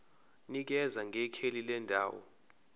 nikeza ngekheli lendawo